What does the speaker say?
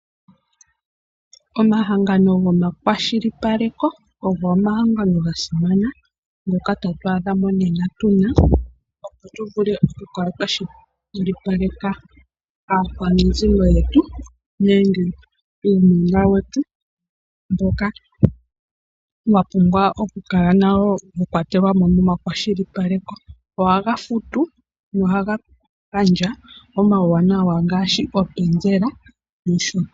Omahangano goma kwashilipaleko ogo omahangano gasimana ngoka to tu adha monena tuna, opo tuvule oku kala twa kwashilipaleka aakwanezimo yetu, nenge uunona wetu mboka wa pumbwa nawo oku kala wakwatelelwamo mo ma kwashilipaleko. Oha ga futu go oha ga gandja uuwanawa ngaashi openzela.